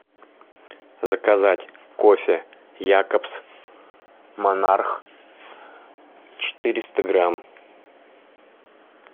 заказать кофе якобс монарх четыреста грамм